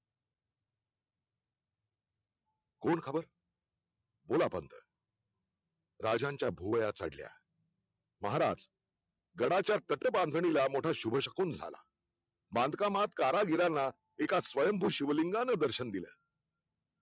कोण हवंय? बोला पंथ. राजांच्या भुवया चढल्या महाराज गडच्या पत्थ बांधणीला मोठा शुभशकून झाला बांधकामात कारागिरांना एका स्वयंभू शिवलिंगानं दर्शन दिलं